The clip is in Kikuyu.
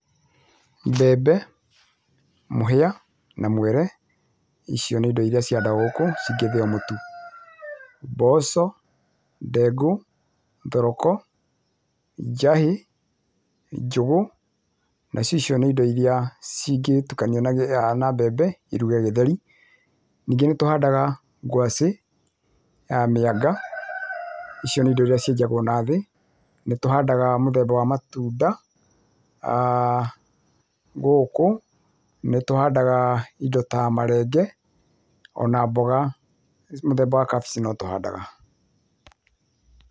Mbembe, mũhia na mwere icio nĩ indo iria cihanda gũkũcingĩthĩo mũtu, mboco, ndengu, thoroko ,njahĩ, njũgũ na cio icio nĩ indo irĩa cingĩtukanio na mbembe iruge gĩtheri, ningĩ nĩtũhandaga ngwacĩ, ya mĩanga, icio nĩ indo irĩa cĩenjagwo na thĩĩ, nĩtũhandaga mũthemba wa matunda gũkũ, nĩtũhandaga indo ta marenge, ona mboga mũthemba wa kabĩci notũhandaga. t